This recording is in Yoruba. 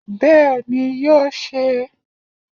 Bẹ́ẹ̀ni, yóò se é